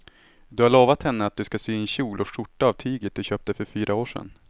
Du har lovat henne att du ska sy en kjol och skjorta av tyget du köpte för fyra år sedan.